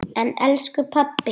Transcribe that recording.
En elsku pabbi!